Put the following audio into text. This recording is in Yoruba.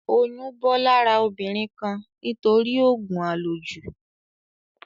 Oyún bọ́ lára obìnrin kan nítorí òògùn à lò jù